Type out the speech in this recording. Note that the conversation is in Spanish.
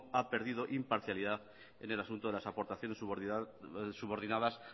ha perdido imparcialidad en el asunto de las aportaciones subordinadas